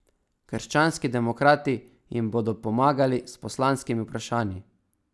Krščanski demokrati jim bodo pomagali s poslanskimi vprašanji.